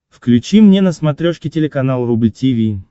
включи мне на смотрешке телеканал рубль ти ви